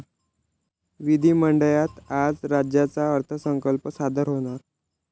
विधिमंडळात आज राज्याचा अर्थसंकल्प सादर होणार